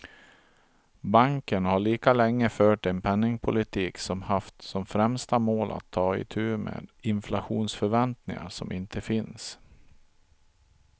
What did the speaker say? Banken har lika länge fört en penningpolitik som haft som främsta mål att ta itu med inflationsförväntningar som inte finns.